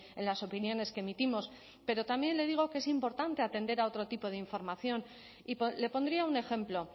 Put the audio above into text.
en las opiniones que emitimos pero también le digo que es importante atender a otro tipo de información y le pondría un ejemplo